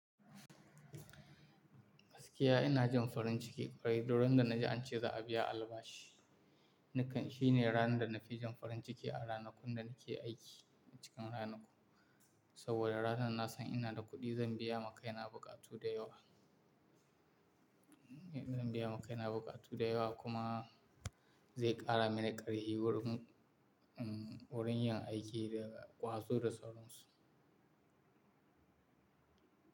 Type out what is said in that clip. Gaskiya ina jin farin ciki ƙwarai, duk ran da na ji an ce za a biya albashi. Nikan shi ne ranar da na fi jin farin ciki a ranakun da na ke aiki a cikin ranaku, saboda ranar na san ina da kuɗi zan biya ma kaina buƙatu da yawa. Zan biya ma kaina buƙatu da yawa kuma zai ƙara mini ƙarfi wurin, wurin yin aiki daga kwazo Da sauran su.